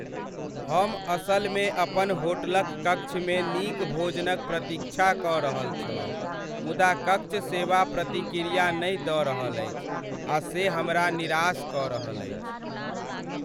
हम असलमे अपन होटलक कक्षमे नीक भोजनक प्रतीक्षा कऽ रहल छलहुँ, मुदा कक्ष सेवा प्रतिक्रिया नहि दऽ रहल अछि आ से हमरा निराश कऽ रहल अछि।